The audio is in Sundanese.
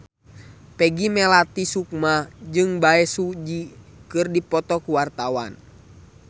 Peggy Melati Sukma jeung Bae Su Ji keur dipoto ku wartawan